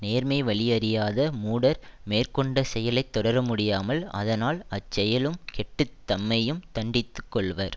நேர்மை வழி அறியாத மூடர் மேற்கொண்ட செயலை தொடர முடியாமல் அதனால் அச்செயலும் கெட்டு தம்மையும் தண்டித்துக் கொள்வர்